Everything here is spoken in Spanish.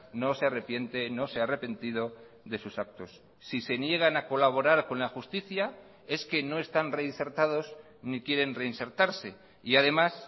no se arrepiente no se ha arrepentido de sus actos si se niegan a colaborar con la justicia es que no están reinsertados ni quieren reinsertarse y además